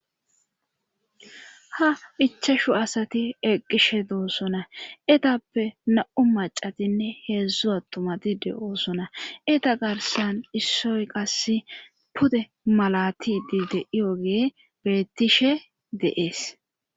ha ichashu asati eqqishe doossona etappe na'u macatinne heedzdzu attumati de'oosona eta garsan issoy qass pude malatidi de'iyogey beettishe de'ees